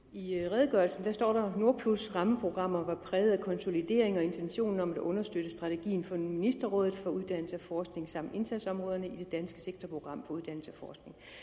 i redegørelsen står der nordplus rammeprogrammet var præget af konsolidering og intentionen om at understøtte strategien for ministerrådet for uddannelse og forskning samt indsatsområderne i det danske sektorprogram for uddannelse og